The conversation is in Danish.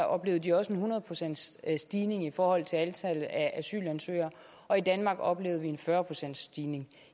oplevede de også en hundrede procentsstigning i forhold til antallet af asylansøgere og i danmark oplevede vi en fyrre procentsstigning